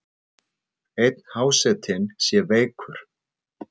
Einn hásetinn sé veikur.